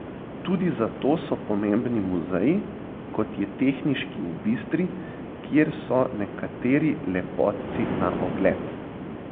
Tudi zato so pomembni muzeji, kot je tehniški v Bistri, kjer so nekateri lepotci na ogled.